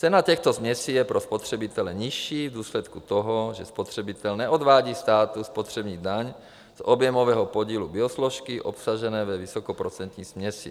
Cena těchto směsí je pro spotřebitele nižší v důsledku toho, že spotřebitel neodvádí státu spotřební daň z objemového podílu biosložky obsažené ve vysokoprocentní směsi.